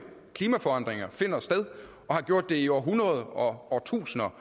klimaforandringer finder sted og har gjort det i århundreder og årtusinder